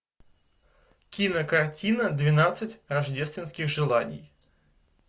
кинокартина двенадцать рождественских желаний